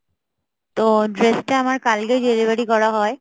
তো dress টা আমায় কালকে delivery করা হয়